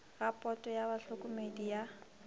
ga poto ya bahlokomedi ya